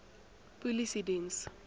polisiediens